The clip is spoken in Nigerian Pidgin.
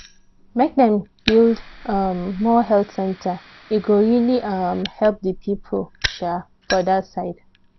make dem build um more health center e go really um help the people um for that side.